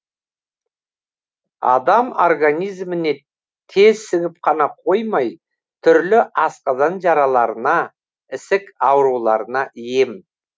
адам организіміне тез сіңіп қана қоймай түрлі асқазан жараларына ісік ауруларына ем